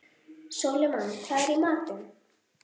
Sólimann, hvað er í matinn?